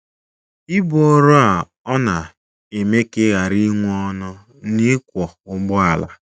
Ibu ọrụ a ọ̀ na - eme ka ị ghara inwe ọṅụ n’ịkwọ ụgbọala?